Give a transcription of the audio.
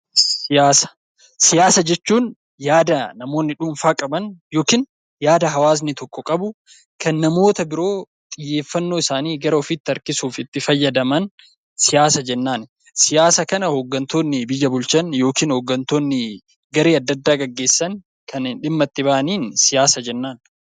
Siyaasa jechuun yaada namoonni dhuunfaa qaban yookiin yaada hawaasni tokko qabu kan namoota biroo xiyyeeffannoo isaanii gara ofiitti harkisuuf itti fayyadaman siyaasa jennaan. Siyaasa kana hooggantoonni biyya bulchan yookiin hooggantoonni garee adda addaa gaggeessan kan dhimma itti bahaniin siyaasa jennaan.